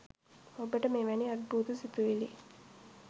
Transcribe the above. ඔබට මෙවැනි අද්භූත සිතුවිලි